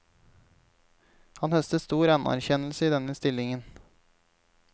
Han høstet stor anerkjennelse i denne stillingen.